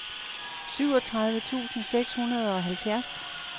syvogtredive tusind seks hundrede og halvfjerds